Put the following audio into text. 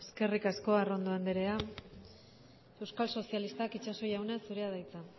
eskerrik asko arrondo andrea euskal sozialistak itxaso jauna zurea da hitza